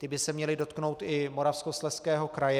Ty by se měly dotknout i Moravskoslezského kraje.